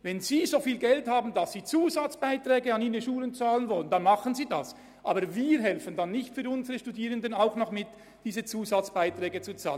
Wenn ein Kanton so viel Geld habe, dass er Zusatzbeiträge an seine Schulen zahlen könne, solle er dies tun, aber die anderen Kantone müssten für ihre Studierenden nicht ebenfalls Zusatzbeiträge entrichten.